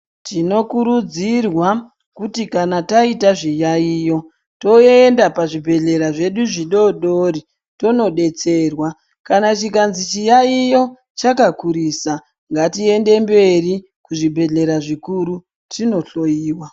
Tinokurudzirwa kuti kana taita zviyaiyo toenda pazvibhedhlera zvedu zvidodori tonobetserwa. Kana chikanzi chiyaiyo chakakurisa ngatiende mberi kuzvinbhedhleya zvikuru tinohloiwa.